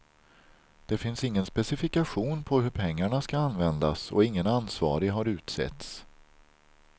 Det finns ingen specifikation på hur pengarna ska användas och ingen ansvarig har utsetts.